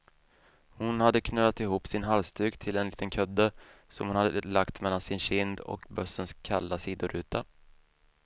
Hon hade knölat ihop sin halsduk till en liten kudde, som hon hade lagt mellan sin kind och bussens kalla sidoruta.